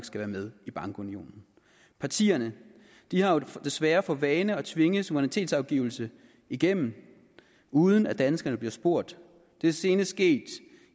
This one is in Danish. skal være med i bankunionen partierne har desværre for vane at tvinge suverænitetsafgivelse igennem uden at danskerne bliver spurgt det er senest sket